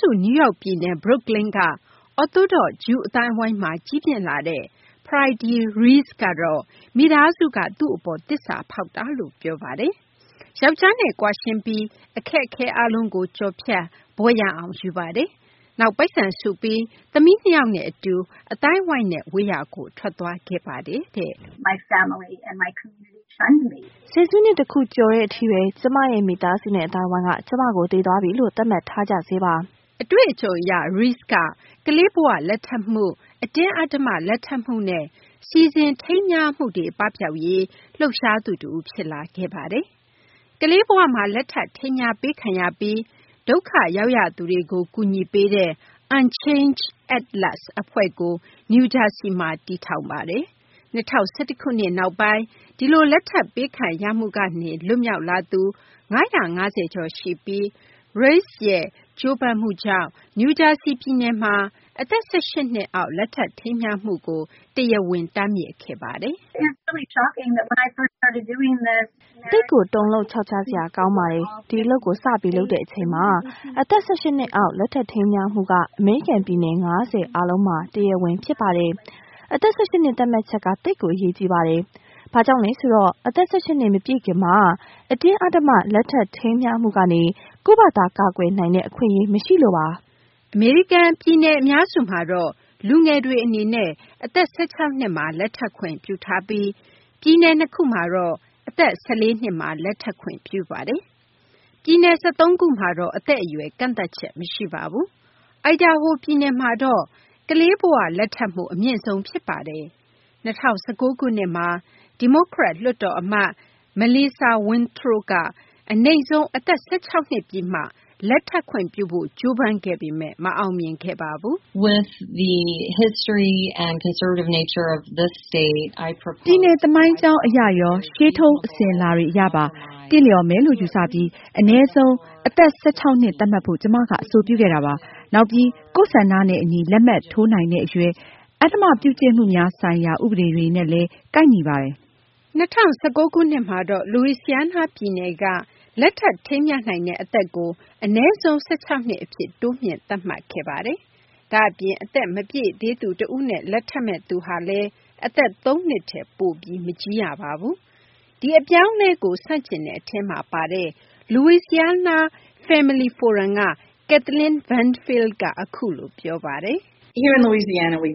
စု နယူးယောက် ပြည်နယ် Brooklyn က အော်သိုဒေါသ့် ဂျူးအသိုင်းအဝိုင်းမှာ ကြီးပြင်းလာတဲ့ Fraidy Reiss ကတော့ မိသားစုက သူ့အပေါ် သစ္စာဖောက်တာလို့ ပြောပါတယ်။ ယောက်ျားနဲ့ ကွာရှင်းပြီးတဲ့ နောက်မှာတော့ အခက်အခဲ အားလုံးကို ကျော်လွှားပြီး ဘွဲ့ရအောင် ယူပါတယ်၊ နောက် ပိုက်ဆံစုပြီး သမီး ၂ ယောက်နဲ့ အတူ အသိုင်းအဝိုင်းနဲ့ ဝေးရာကို ထွက်သွားခဲ့ပါတယ်တဲ့။ “ဆယ်စုနှစ် တခုကျော်တဲ့ အထိဘဲ ကျမရဲ့ မိသားစုနဲ့ အသိုင်းအဝိုင်းက ကျမကို သေသွားပြီလို့ သတ်မှတ်ထားကြဆဲပါ။” အတွေ့အကြုံ အရ Reiss ဟာ ကလေးဘ၀ လက်ထပ်မှု၊ အတင်းအဓမ္မ လက်ထပ်မှုနဲ့ စီစဉ် ထိမ်းမြားမှုတွေ ပပျောက်ရေး လှုပ်ရှားသူ တဦး ဖြစ်လာခဲ့ပါတယ်။ ကလေးဘဝမှာ လက်ထပ် ထိမ်းမြားပေးခံရပြီး ဒုက္ခရောက်ရသူတွေကို ကူညီပေးတဲ့ Unchainde At Last အဖွဲ့ကို နယူးဂျာဆီမှာ တည်ထောင်ခဲ့ပါတယ်။ ၂၀၁၁ ခုနှစ်နောက်ပိုင်း ဒီလို လက်ထပ် ပေးခံရမှုကနေ လွတ်မြောက်လာသူ ၅၅၀ ကျော်ရှိပြီး Reiss ရဲ့ ကြိုးပမ်းမှုကြောင့်ဘဲ နယူးဂျာဆီ ပြည်နယ်မှာ အသက် ၁၈ နှစ်အောက် လက်ထပ် ထိမ်းမြားမှုကို တရားဝင် တားမြစ်ခဲ့ပါတယ်။ “သိပ်ကို တုန်လှုပ်ချောက်ချားစရာ ကောင်းပါတယ်။ ဒီအလုပ်ကို စပြီး လုပ်တဲ့ အချိန်မှာ အသက် ၁၈ နှစ်အောက် လက်ထပ် ထိမ်းမြားမှုက အမေရိကန် ပြည်နယ် ၅၀ အားလုံးမှာ တရားဝင်ဖြစ်ပါတယ်။ အသက် ၁၈ နှစ် သတ်မှတ်ချက်က သိပ်ပြီး အရေးကြီးပါတယ်။ ဘာကြောင့်လဲ ဆိုတော့ အသက် ၁၈ နှစ် မပြည့်ခင်မှာ အတင်းအဓမ္မ လက်ထပ် ထိမ်းမြားမှုကနေ ကိုယ့်ဘာသာ ကာကွယ်နိုင်တဲ့ အခွင့်အရေး မရှိလို့ပါ။” အမေရိကန် ပြည်နယ် အများစုမှာတော့ လူငယ်တွေ အနေနဲ့ အသက် ၁၆ နှစ်မှာ လက်ထပ်ခွင့် ပြုထားပြီး ပြည်နယ် ၂ ခုမှာတော့ အသက် ၁၄ နှစ်မှာ လက်ထပ်ခွင့်ပြုပါတယ်။ ပြည်နယ် ၁၃ ခုမှာတော့ အသက်အရွယ် ကန့်သတ်ချက် မရှိပါဘူး။ အိုင်ဒါဟို ပြည်နယ်မှာတော့ ကလေးဘ၀ လက်ထပ်မှုနှုန်း အမြင့်ဆုံး ဖြစ်ပါတယ်။ ၂၀၁၉ ခုနှစ်မှာ ဒီမိုကရက် လွှတ်တော် အမတ် Melissa Wintrow က အနိမ့်ဆုံး အသက် ၁၆ နှစ် ပြည့်မှ လက်ထပ်ခွင့်ပြုဖို့ ကြိုးပမ်းခဲ့ပေမယ့် မအောင်မြင်ခဲ့ပါဘူး။ “ပြည်နယ် သမိုင်းကြောင်း အရရော ရှေးထုံး အစဉ်အလာတွေ အရပါ သင့်လျော်မယ်လို့ ယူဆပြီး အနည်းဆုံး အသက် ၁၆ နှစ် သတ်မှတ်ဖို့ ကျမက အဆိုပြုခဲ့တာပါ။ နောက်ပြီး ကိုယ့်ဆန္ဒနဲ့ အညီ လက်မှတ်ထိုးနိုင်တဲ့ အရွယ်၊ အဓမ္မပြုကျင့်မှုများဆိုင်ရာ ဥပဒေတွေနဲ့လည်း ကိုက်ညီပါတယ်။” ၂၀၁၉ ခုနှစ်မှာတော့ လူဝီစီယားနား ပြည်နယ်က လက်ထပ် ထိမ်းမြားနိုင်တဲ့ အနည်းဆုံး ၁၆ နှစ် အဖြစ် တိုးမြှင့် သတ်မှတ်ခဲ့ပါတယ်။ ဒါ့အပြင် အသက်မပြည့်သေးသူ တဦးနဲ့ လက်ထပ်မယ့်သူဟာလည်း အသက် ၃ နှစ်ထက် ပိုပြီး မကြီးရပါဘူး။ ဒီအပြောင်းအလဲကို ဆန့်ကျင်တဲ့ အထဲမှာ ပါတဲ့ Louisiana Family Forum က Kathleen Benfield က အခုလို ပြောပါတယ်။ “လူဝီစီယားနားမှာ